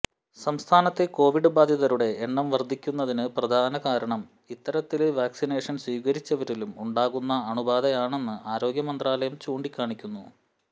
സംസ്ഥാനത്തെ കൊവിഡ് ബാധിതരുടെ എണ്ണം വര്ദ്ധിക്കുന്നതിന് പ്രധാനകാരണം ഇത്തരത്തില് വാക്സിനേഷന് സ്വീകരിച്ചവരിലും ഉണ്ടാകുന്ന രോഗബാധയാണെന്ന് ആരോഗ്യമന്ത്രാലയം ചൂണ്ടിക്കാണിക്കുന്നു